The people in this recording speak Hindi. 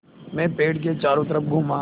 मैं पेड़ के चारों तरफ़ घूमा